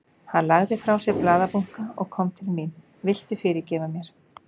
Hann lagði frá sér blaðabunka og kom til mín. Viltu fyrirgefa mér?